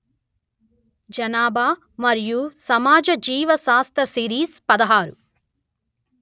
జనాభా మరియు సమాజ జీవ శాస్త సిరీస్ పదహారు